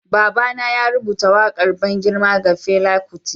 Baba na ya rubuta wakar ban girma ga Fela Kuti.